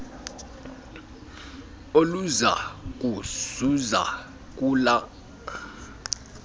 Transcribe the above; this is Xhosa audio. oluza kuzuza kula